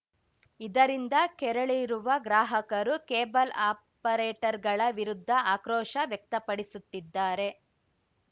ಇದರಿಂದ ಕೆರಳಿರುವ ಗ್ರಾಹಕರು ಕೇಬಲ್‌ ಆಪರೇಟರ್‌ಗಳ ವಿರುದ್ಧ ಆಕ್ರೋಶ ವ್ಯಕ್ತಪಡಿಸುತ್ತಿದ್ದಾರೆ